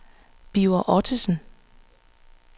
Birger Ottosen